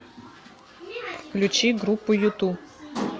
включи группу юту